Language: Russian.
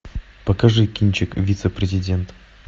покажи кинчик вице президент